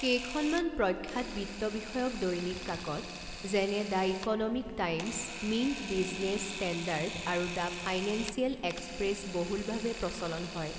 কেইখনমান প্ৰখ্যাত বিত্ত বিষয়ক দৈনিক কাকত যেনে the Economic Times Mint Business Standard আৰু দ্য ফাইনেন্সিয়েল এক্সপ্ৰেছ বহুলভাৱে প্ৰচলন হয়।